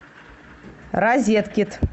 розеткед